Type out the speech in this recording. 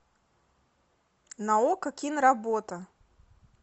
на окко киноработа